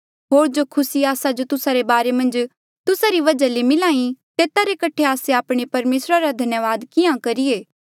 होर जो खुसी आस्सा जो तुस्सा रे बारे मन्झ तुस्सा री वजहा ले मिल्हा ई तेता रे कठे आस्से आपणे परमेसरा रा धन्यावाद किहाँ करिए